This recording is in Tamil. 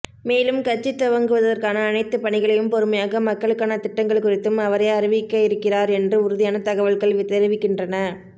மேலும் கட்சி துவங்குவதற்கான அனைத்து பணிகளையும் பொறுமையாக மக்களுக்கான திட்டங்கள் குறித்தும் அவரே அறிவிக்கயிருக்கிறார் என்று உறுதியான தகவல்கள தெரிவிக்கின்றன